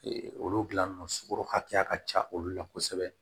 olu dilan sogo hakɛya ka ca olu la kosɛbɛ